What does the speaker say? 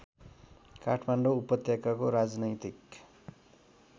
काठमाडौँ उपत्यकाको राजनैतिक